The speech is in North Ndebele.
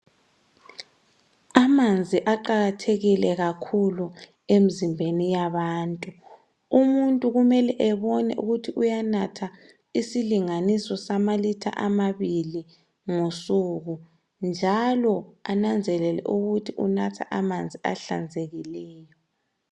Amanzi aqakathekile kakhulu emzimbeni yabantu. Umuntu kumele ebone ukuthi uyanatha isilinganiso sama litre amabili ngosuku njalo enanzelele ukuthi unatha amanzi ahlanzekileyo.